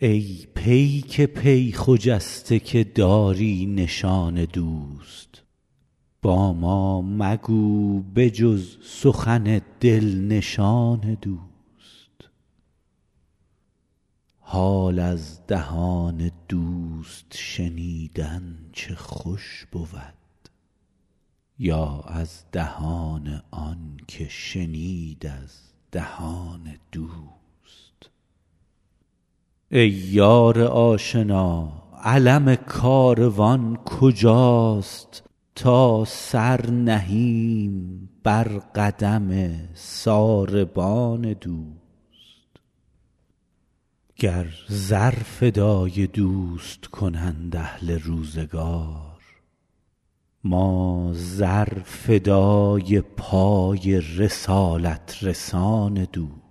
ای پیک پی خجسته که داری نشان دوست با ما مگو به جز سخن دل نشان دوست حال از دهان دوست شنیدن چه خوش بود یا از دهان آن که شنید از دهان دوست ای یار آشنا علم کاروان کجاست تا سر نهیم بر قدم ساربان دوست گر زر فدای دوست کنند اهل روزگار ما سر فدای پای رسالت رسان دوست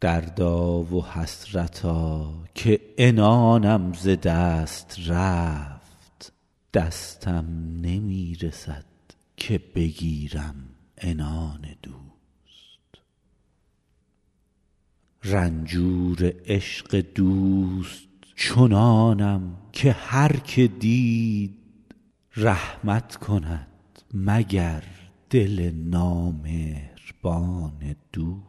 دردا و حسرتا که عنانم ز دست رفت دستم نمی رسد که بگیرم عنان دوست رنجور عشق دوست چنانم که هر که دید رحمت کند مگر دل نامهربان دوست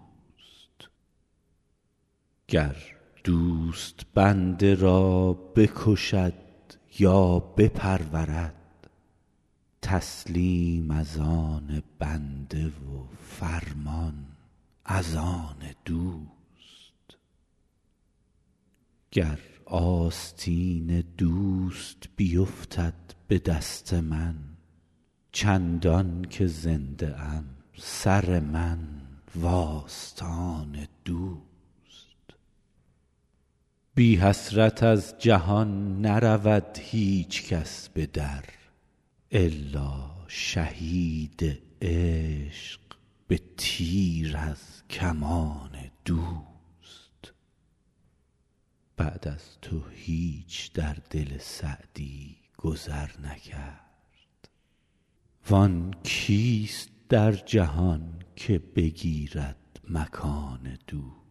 گر دوست بنده را بکشد یا بپرورد تسلیم از آن بنده و فرمان از آن دوست گر آستین دوست بیفتد به دست من چندان که زنده ام سر من و آستان دوست بی حسرت از جهان نرود هیچ کس به در الا شهید عشق به تیر از کمان دوست بعد از تو هیچ در دل سعدی گذر نکرد وآن کیست در جهان که بگیرد مکان دوست